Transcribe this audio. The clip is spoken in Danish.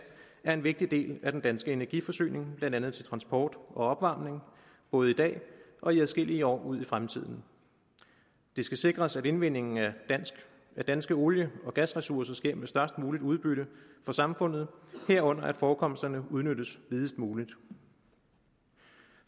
er en vigtig del af den danske energiforsyning blandt andet til transport og opvarmning både i dag og i adskillige år ud i fremtiden det skal sikres at indvindingen af danske olie og gasressourcer sker med størst muligt udbytte for samfundet herunder at forekomsterne udnyttes videst muligt